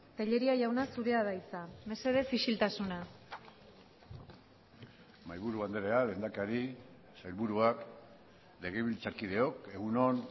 tellería jauna zurea da hitza mesedez isiltasuna mahaiburu andrea lehendakari sailburuak legebiltzarkideok egun on